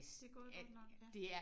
Det er gået godt nok ja